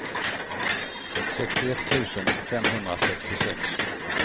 sextioett tusen femhundrasextiosex